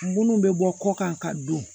Munnu bɛ bɔ kɔ kan ka don